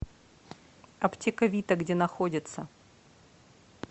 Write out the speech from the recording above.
аптека вита где находится